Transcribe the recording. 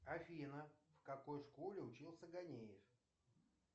афина в какой школе учился ганеев